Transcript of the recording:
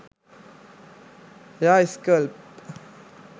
hair scalp